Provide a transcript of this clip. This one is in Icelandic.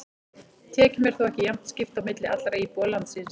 Tekjum er þó ekki jafnt skipt á milli allra íbúa landsins.